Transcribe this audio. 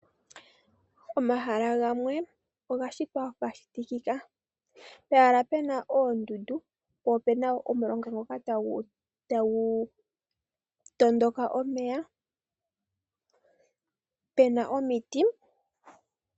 Omahala gamwe oga shitwa ga shitikika. Pehala pena oondundu, po opena omulonga ngoka tagu tondoka omeya pena omiti.